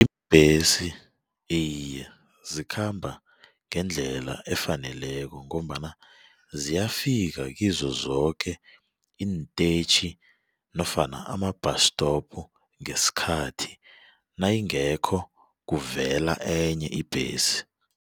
iye zikhamba ngendlela efaneleko ngombana ziyafika kizo zoke iintetjhi nofana ama-bus stop ngesikhathi nayingekho kuvela enye ibhesi.